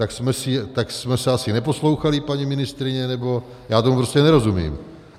Tak jsme se asi neposlouchali, paní ministryně, nebo já tomu prostě nerozumím.